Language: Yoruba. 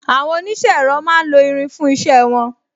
Àwọn onise ẹ̀rọ máa ń lo irin fún isẹ won